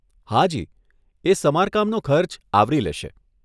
હાજી, એ સમારકામનો ખર્ચ આવરી લેશે.